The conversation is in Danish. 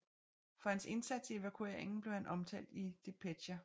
For hans indsats i evakueringen blev han omtalt i depecher